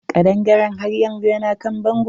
Kaɗangaren haryanzu na kan bango.